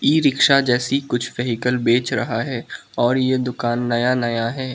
ई rickshaw जैसी कुछ vehicle बेच रहा है और ये दुकान नया नया है।